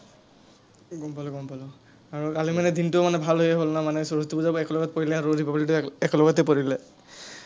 গম পালো, গম পালো। আৰু কালি মানে দিনটো মানে ভালেই হ’ল না, মানে সৰস্বতী পূজাও একেলগত পৰিলে আৰু republic day একেলগতে পৰিলে।